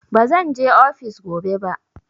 Bazan je ofis gobe ba.